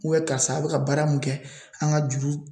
Ubiyɛn karisa a be ka baara mun kɛ an ka juru